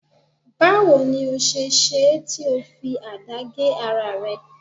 Bawo ni o se ṣe é tí ó fi àdá gé ara rẹ